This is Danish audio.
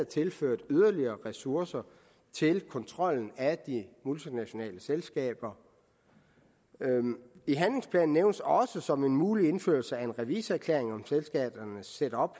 tilført yderligere ressourcer til kontrol af de multinationale selskaber i handlingsplanen nævnes også som en mulighed indførelse af en revisorerklæring om selskabernes setup